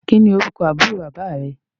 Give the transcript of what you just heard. Kín ni orúkọ àbúrò bàbá rẹ?